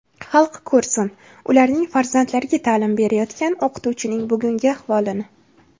Xalq ko‘rsin, ularning farzandlariga ta’lim berayotgan o‘qituvchining bugungi ahvolini.